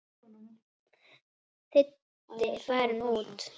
Diddi farinn út.